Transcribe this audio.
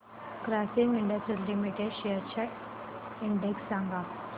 Grasim industries limited shares चा index सांगा